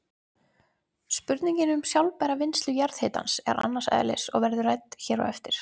Spurningin um sjálfbæra vinnslu jarðhitans er annars eðlis og verður rædd hér á eftir.